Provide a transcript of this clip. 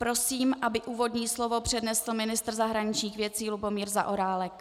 Prosím, aby úvodní slovo přednesl ministr zahraničních věcí Lubomír Zaorálek.